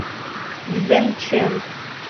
цзэнчэн